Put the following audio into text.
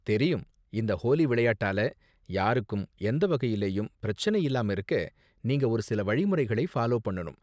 தெரியும், இந்த ஹோலி விளையாட்டால யாருக்கும் எந்த வகையிலயும் பிரச்சனை இல்லாம இருக்க நீங்க ஒரு சில வழிமுறைகளை ஃபாலோ பண்ணனும்!